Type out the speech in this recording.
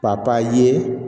ye